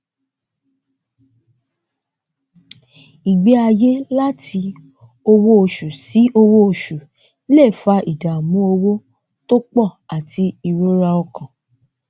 ìgbé ayé láti owó oṣù sí owó oṣù lè fa ìdàmú owó tó pọ àti ìrora ọkàn